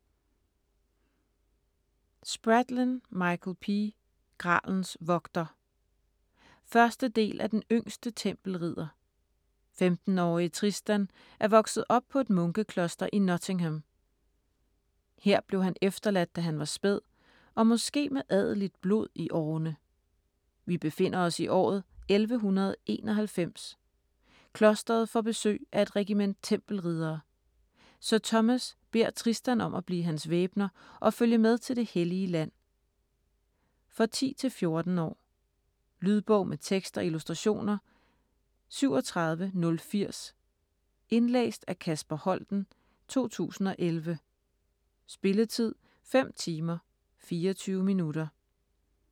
Spradlin, Michael P.: Gralens vogter 1. del af Den yngste tempelridder. 15-årige Tristan er vokset op på et munkekloster i Nottingham. Her blev han efterladt, da han var spæd, og måske med adeligt blod i årene! Vi befinder os i året 1191. Klosteret får besøg af et regiment tempelriddere. Sir Thomas beder Tristan om at blive hans væbner og følge med til Det Hellige Land. For 10-14 år. Lydbog med tekst og illustrationer 37080 Indlæst af Kasper Holten, 2011. Spilletid: 5 timer, 24 minutter.